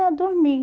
Eu dormi.